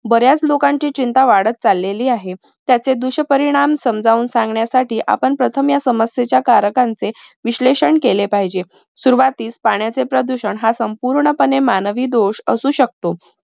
बऱ्याच लोकांची चिंता वाढत चाललेली आहे. त्याचे दुष्परिणाम समजावून सांगण्यासाठी आपण प्रथम या समस्येच्या कारकांचे विश्लेषण केले पाहिजे. सुरवातीस पाण्याचे प्रदूषण हा संपूर्णपणे मानवी दोष असू शकतो.